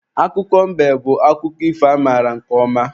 Akụkọ mbe bụ akụkọ ifo amaara nke ọma.